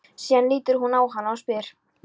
Síðan lítur hann á hana og spyr